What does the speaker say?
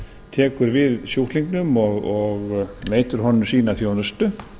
tekur við sjúklingnum og veitir honum sína þjónustu